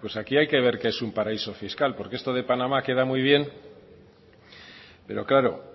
pues aquí hay que ver qué es un paraíso fiscal porque esto de panamá queda muy bien pero claro